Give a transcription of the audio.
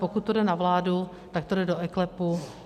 Pokud to jde na vládu, tak to jde do eKLEPu.